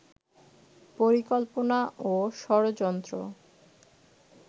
পরিকল্পনা ও ষড়যন্ত্র